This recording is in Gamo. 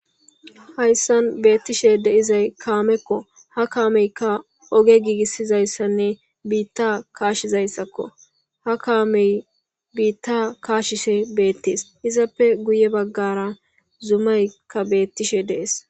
hayssan beettishe de'izay kaamekko ha kaameykka oge giigissizayssanne biitta kaashizayssakko ha kaamey biitta kaashishe beettees izappe guye baggara zumayka beettishe dees